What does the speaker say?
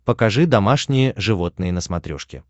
покажи домашние животные на смотрешке